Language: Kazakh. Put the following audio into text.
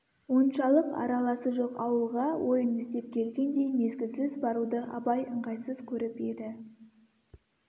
оншалық араласы жоқ ауылға ойын іздеп келгендей мезгілсіз баруды абай ыңғайсыз көріп еді